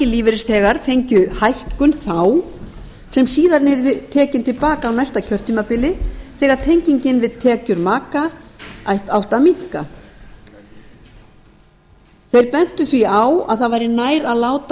lífeyrisþegar fengju hækkun þá sem síðan yrði tekin til baka á næsta kjörtímabili þegar tengingin við tekjur maka átti að minnka þeir bentu því á að það væri nær að láta